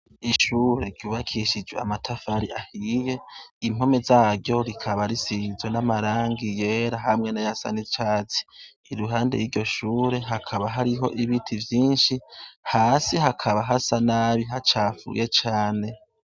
Ishure ryubakishijwe matafari ahiye, impome zaryo rikaba zisize n'amarangi yera ,hamwe n'ayasa n'icatsi, iruhande yiryo shure hakaba hariho ibiti vyinshi, hasi hakaba hasa nabi hacafuye cane.